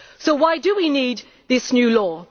So why do we need this new law?